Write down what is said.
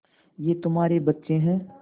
ये तुम्हारे बच्चे हैं